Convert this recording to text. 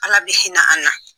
Ala bɛ hinɛ an na